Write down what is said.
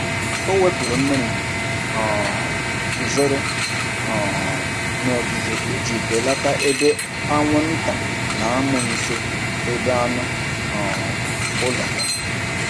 Ọ wepụrụ mmiri um guzoro um n’ogige iji belata ebe anwụnta na-amụ nso ebe anụ um ụlọ ya.